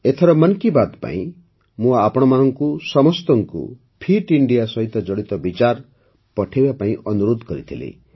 ଏଥର ମନ୍ କି ବାତ୍ ପାଇଁ ମୁଁ ଆପଣ ସମସ୍ତଙ୍କୁ ଫିଟ୍ ଇଣ୍ଡିଆ ସହିତ ଜଡ଼ିତ ବିଚାର ପଠାଇବା ପାଇଁ ଅନୁରୋଧ କରିଥିଲି